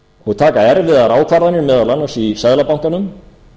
og taka erfiðar ákvarðanir meðal annars í seðlabankanum